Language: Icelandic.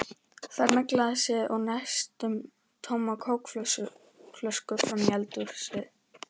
Fer með glasið og næstum tóma kókflöskuna fram í eldhús.